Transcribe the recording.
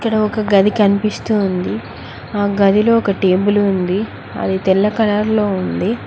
ఇక్కడ ఒక గది కనిపిస్తూ ఉంది ఆ గదిలో ఒక టేబుల్ ఉంది అది తెల్ల కలర్ లో ఉంది.